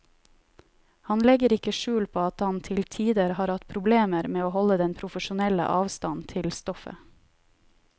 Han legger ikke skjul på at han til tider har hatt problemer med å holde den profesjonelle avstand til stoffet.